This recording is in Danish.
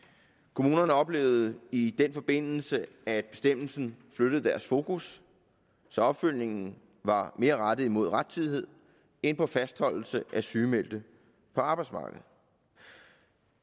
kommunerne oplevede i den forbindelse at bestemmelsen flyttede deres fokus så opfølgningen var mere rettet mod rettidighed end på fastholdelse af sygemeldte på arbejdsmarkedet